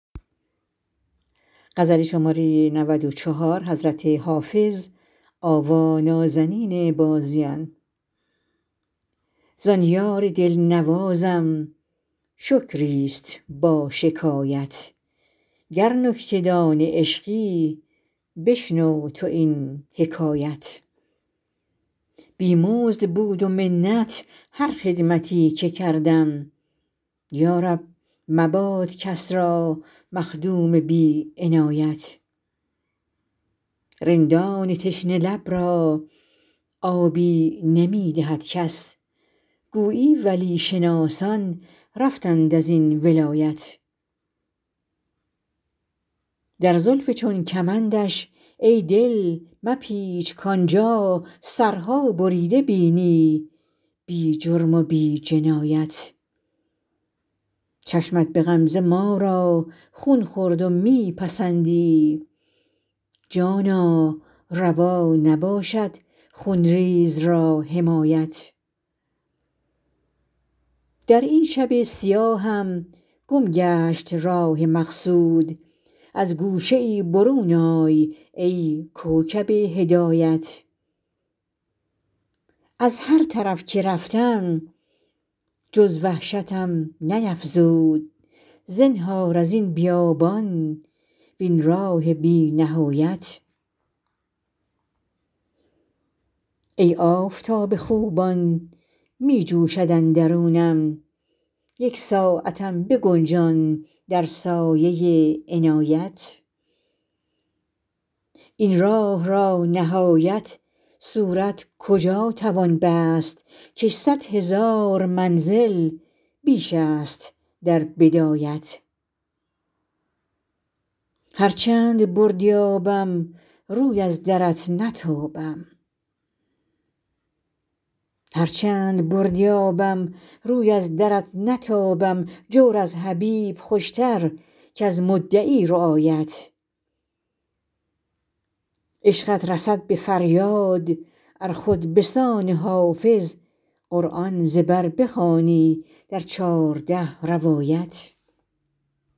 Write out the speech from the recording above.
زان یار دل نوازم شکری است با شکایت گر نکته دان عشقی بشنو تو این حکایت بی مزد بود و منت هر خدمتی که کردم یا رب مباد کس را مخدوم بی عنایت رندان تشنه لب را آبی نمی دهد کس گویی ولی شناسان رفتند از این ولایت در زلف چون کمندش ای دل مپیچ کآن جا سرها بریده بینی بی جرم و بی جنایت چشمت به غمزه ما را خون خورد و می پسندی جانا روا نباشد خون ریز را حمایت در این شب سیاهم گم گشت راه مقصود از گوشه ای برون آی ای کوکب هدایت از هر طرف که رفتم جز وحشتم نیفزود زنهار از این بیابان وین راه بی نهایت ای آفتاب خوبان می جوشد اندرونم یک ساعتم بگنجان در سایه عنایت این راه را نهایت صورت کجا توان بست کش صد هزار منزل بیش است در بدایت هر چند بردی آبم روی از درت نتابم جور از حبیب خوش تر کز مدعی رعایت عشقت رسد به فریاد ار خود به سان حافظ قرآن ز بر بخوانی در چارده روایت